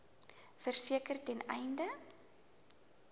verseker ten einde